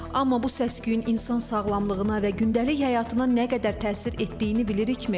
Amma bu səs-küyün insan sağlamlığına və gündəlik həyatına nə qədər təsir etdiyini bilirikmi?